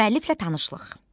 Müəlliflə tanışlıq.